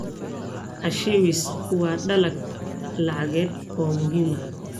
Cashews waa dalag lacageed oo muhiim ah.